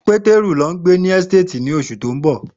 Peteru lọ n gbe si ohun-ini ni oṣu ti n bọ.